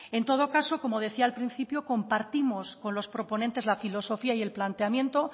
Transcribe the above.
en todo caso como decía al principio compartimos con los proponentes la filosofía y el planteamiento